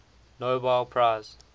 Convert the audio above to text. nobel prize